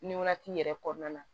Nin wagati yɛrɛ kɔnɔna na